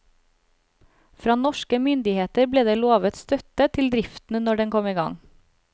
Fra norske myndigheter ble det lovet støtte til driften når den kom i gang.